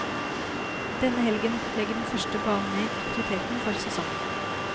Denne helgen legger den første banen ned aktiviteten for sesongen.